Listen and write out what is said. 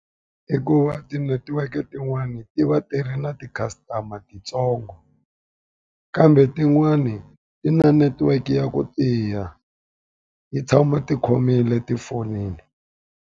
I ku va tinetiweke tin'wani ti va ti ri na ti-customer titsongo. Kambe tin'wani ti na netiweke ya ku tiya yi tshama ti khomile tifonini.